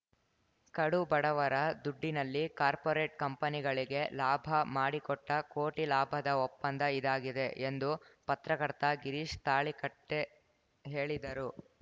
ಕಡು ಬಡವರ ದುಡ್ಡಿನಲ್ಲಿ ಕಾರ್ಪೋರೇಟ್‌ ಕಂಪನಿಗಳಿಗೆ ಲಾಭ ಮಾಡಿಕೊಟ್ಟಕೋಟಿ ಲಾಭದ ಒಪ್ಪಂದ ಇದಾಗಿದೆ ಎಂದು ಪತ್ರಕರ್ತ ಗಿರೀಶ್ ತಾಳಿಕಟ್ಟೆಹೇಳಿದರು